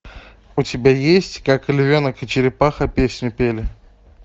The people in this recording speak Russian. у тебя есть как львенок и черепаха песню пели